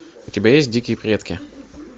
у тебя есть дикие предки